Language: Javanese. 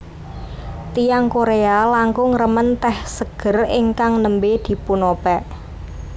Tiyang Korea langkung remen tèh seger ingkang nembé dipunopèk